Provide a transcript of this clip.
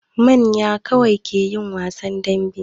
Manya kawai ke yin wasan dambe.